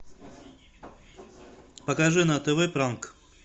покажи на тв пранк